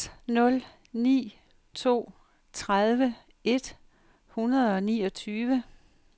seks nul ni to tredive et hundrede og niogtyve